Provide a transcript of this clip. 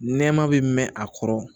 Nɛma bɛ mɛn a kɔrɔ